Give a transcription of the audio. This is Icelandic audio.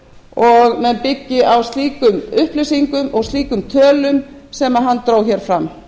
og menn byggi á slíkum upplýsingum og slíkum tölum sem hann dró hér fram